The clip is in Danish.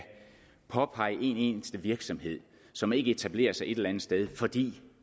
påpege en eneste virksomhed som ikke etablerer sig et eller andet sted fordi